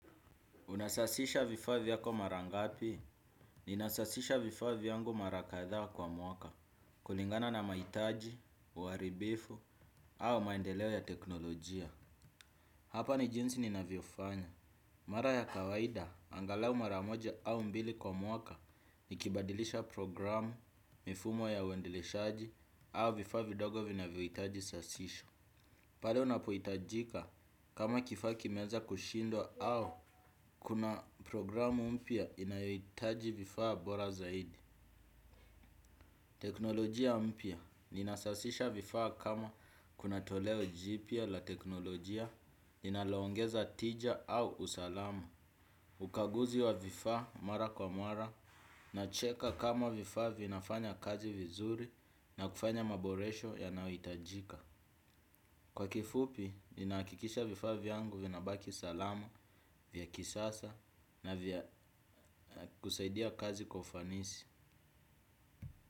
Unasasisha vifaa vyako mara ngapi, nina sasisha vifaa vyangu mara kadhaa kwa mwaka, kulingana na mahitaji, uwaribifu, au maendeleo ya teknolojia. Hapa ni jinsi ninavyo fanya. Mara ya kawaida, angalau mara moja au mbili kwa mwaka, nikibadilisha programu, mifumo ya uendeleshaji, au vifaa vidogo vinavyo hitaji usasisho. Pale unapoitajika kama kifaa kimeanza kushindwa au kuna programu mpya inayoitaji vifaa bora zaidi. Teknolojia mpya ninasasisha vifaa kama kuna toleo jipya la teknolojia linalo ongeza tija au usalama. Ukaguzi wa vifaa mara kwa mara nacheka kama vifaa vinafanya kazi vizuri na kufanya maboresho yanayo itajika. Kwa kifupi, nina hakikisha vifaa vyangu vina baki usalama, vya kisasa na vya kusaidia kazi kwa ufanisi.